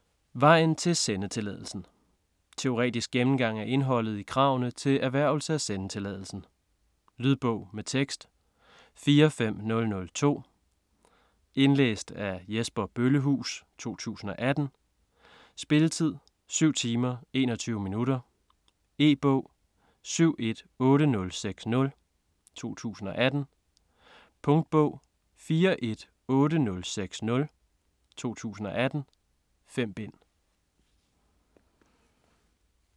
Vejen til sendetilladelsen Teoretisk gennemgang af indholdet i kravene til erhvervelse af sendetilladelsen. Lydbog med tekst 45002 Indlæst af Jesper Bøllehuus, 2018. Spilletid: 7 timer, 21 minutter. E-bog 718060 2018. Punktbog 418060 2018. 5 bind.